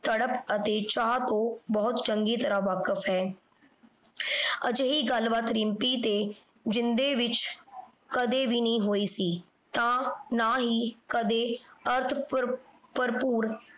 ਤੜਪ ਅਤੇ ਚਾਹ ਤੋਂ ਬਹੁਤ ਚੰਗੀ ਤਰ੍ਹਾਂ ਵਾਕਫ ਹੈ। ਅਜਿਹੀ ਗੱਲਬਾਤ ਰਿੰਪੀ ਅਤੇ ਜਿੰਦੇ ਵਿਚ ਕਦੇ ਵੀ ਨਹੀਂ ਹੋਈ ਸੀ ਤਾਂ ਨਾ ਹੀ ਕਦੇ ਅਰਥ ਭਰ ਭਰਪੂਰ